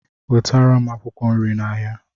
wetara m akwụkwọ nri n'ahịa